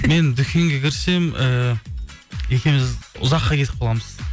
мен дүкенге кірсем ііі екеуіміз ұзаққа кетіп қаламыз